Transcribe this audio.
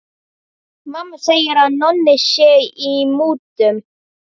Mamma segir að Nonni sé í mútum.